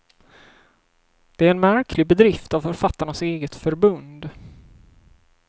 Det är en märklig bedrift av författarnas eget förbund.